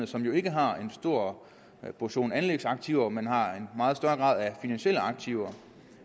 som jo ikke har en stor portion anlægsaktiver men har en meget større grad af finansielle aktiver